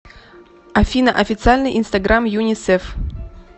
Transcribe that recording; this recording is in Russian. афина официальный инстаграм юнисеф